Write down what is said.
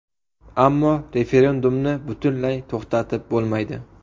Ammo referendumni butunlay to‘xtatib bo‘lmaydi.